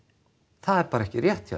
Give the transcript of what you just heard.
það er bara ekki rétt hjá